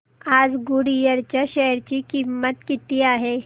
आज गुडइयर च्या शेअर ची किंमत किती आहे